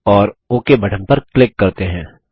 और okay button पर click करते हैं